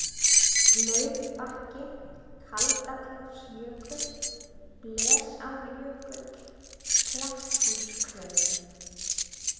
Laufbakki, Kaldaklofsjökull, Blesárjökull, Kletthúsklauf